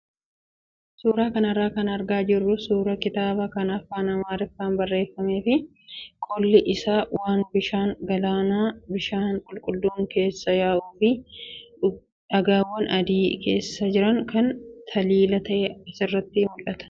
Suuraa kanarraa kan argaa jirru suuraa kitaabaa kan afaan amaariffaan barreeffamee fi qolli isaa waan bishaan galaanaa bishaan qulqulluun keessa yaa'uu fi dhagaawwan adiin keessa jiran kan taliila ta'ee sirriitti mul'atudha.